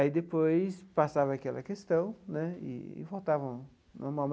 Aí depois passava aquela questão né eee e voltava ao normal.